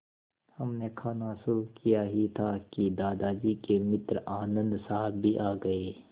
हमने खाना शुरू किया ही था कि दादाजी के मित्र आनन्द साहब भी आ गए